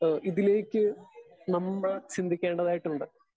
Speaker 2 ഏഹ് ഇതിലേക്ക് നമ്മൾ ചിന്തിക്കേണ്ടതായിട്ടുണ്ട്.